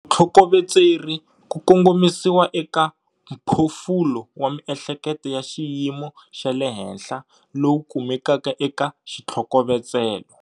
Vutlhokoveteri ku kongomisiwa eka mphofulo wa miehleketo ya xiyimo xa le henhla lowu kumekaka eka xithlokovetselo.